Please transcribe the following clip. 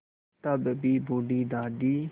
तब भी बूढ़ी दादी